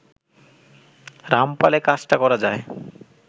রামপালে কাজটা করা যায়